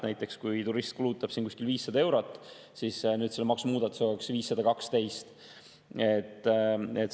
Näiteks kui turist kulutab siin kuskil 500 eurot, siis pärast seda maksumuudatust oleks see 512.